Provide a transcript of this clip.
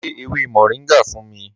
Lọ gẹ̀ ewé Moringa fún mí.